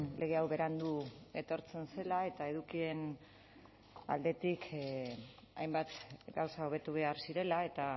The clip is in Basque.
lege hau berandu etortzen zela eta edukien aldetik hainbat gauza hobetu behar zirela eta